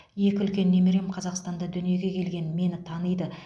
екі үлкен немерем қазақстанда дүниеге келген мені таниды